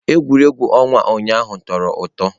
Egwuregwu ọnwa ụnyaahụ tọrọ ụtọ.